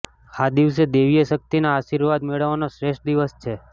આ દિવસ દૈવીય શક્તિના આશીર્વાદ મેળવવાનો શ્રેષ્ઠ દિવસ હોય છે